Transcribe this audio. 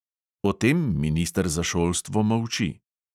O tem minister za šolstvo molči.